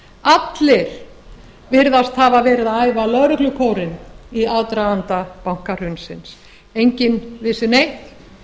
allir virðast hafa verið að æfa lögreglukórinn í aðdraganda bankahrunsins enginn vissi neitt